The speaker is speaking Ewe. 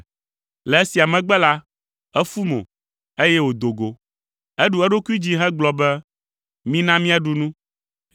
Le esia megbe la, efu mo, eye wòdo go. Eɖu eɖokui dzi hegblɔ be, “Mina míaɖu nu.”